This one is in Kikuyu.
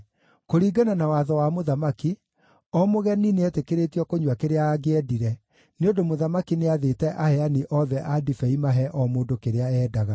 Kũringana na watho wa mũthamaki, o mũgeni nĩeetĩkĩrĩtio kũnyua kĩrĩa angĩendire, nĩ ũndũ mũthamaki nĩathĩte aheani othe a ndibei mahe o mũndũ kĩrĩa eendaga.